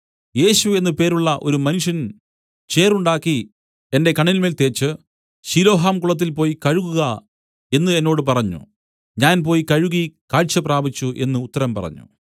യേശു എന്നു പേരുള്ള ഒരു മനുഷ്യൻ ചേറുണ്ടാക്കി എന്റെ കണ്ണിന്മേൽ തേച്ച് ശിലോഹാം കുളത്തിൽ പോയി കഴുകുക എന്നു എന്നോട് പറഞ്ഞു ഞാൻ പോയി കഴുകി കാഴ്ച പ്രാപിച്ചു എന്നു ഉത്തരം പറഞ്ഞു